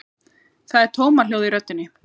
Það er tómahljóð í röddinni.